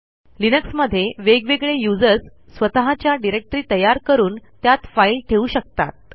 लिनक्समध्ये वेगवेगळे यूझर्स स्वतःच्या डिरेक्टरी तयार करून त्यात फाईल ठेवू शकतात